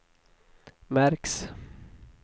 märks